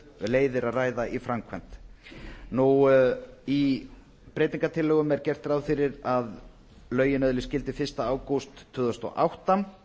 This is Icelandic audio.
leiðir að ræða í framkvæmd í breytingartillögunum er gert ráð fyrir að lögin öðlist gildi fyrsta ágúst tvö þúsund og átta